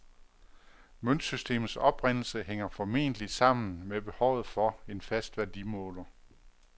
Møntsystemets oprindelse hænger formentlig sammen med behovet for en fast værdimåler.